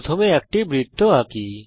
প্রথমে একটি বৃত্ত আঁকি